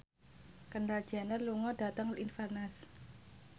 Kendall Jenner lunga dhateng Inverness